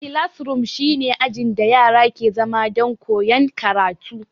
Kilasroom shi ne ajin da yara ke zama don koyan karatu